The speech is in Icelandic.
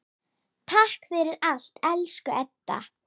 Takk fyrir allt, elsku Edda.